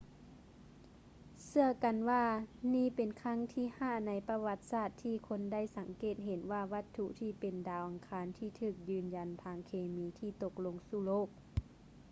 ເຊື່ອກັນວ່ານີ້ເປັນຄັ້ງທີຫ້າໃນປະຫວັດສາດທີ່ຄົນໄດ້ສັງເກດເຫັນວ່າວັດຖຸທີ່ເປັນດາວອັງຄານທີ່ຖືກຢືນຢັນທາງເຄມີຕົກລົງມາສູ່ໂລກ